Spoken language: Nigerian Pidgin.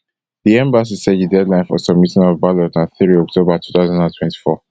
di embassy say di deadline for submitting of ballot na three october two thousand and twenty-four